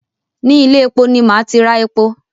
Ni ilé-epo ni màá ti ra epo